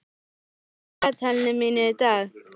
Aldey, hvað er á dagatalinu mínu í dag?